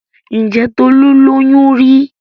Ǹjẹ́ Tolu lóyún rí?